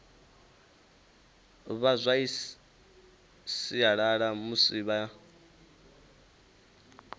vha zwa sialala musi vha